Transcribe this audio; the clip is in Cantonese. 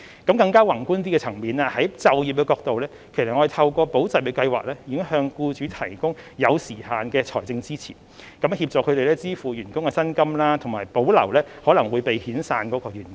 從更宏觀的層面，從就業的角度而言，我們已經透過"保就業"計劃向僱主提供有時限的財政支持，協助他們支付員工的薪金，以及保留可能會被遣散的員工。